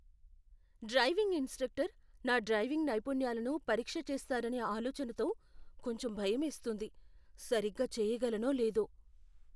Driving instructor నా driving నైపుణ్యాలను పరీక్ష చేస్తారనే ఆలోచనతో కొంచెం భయమేస్తుంది. సరిగ్గా చెయ్యగలనో లేదో.